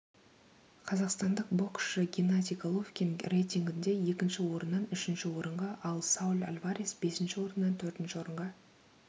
қазақстандық боксшы геннадий головкин рейтингінде екінші орыннан үшінші орынға ал сауль альварес бесінші орыннан төртінші орынға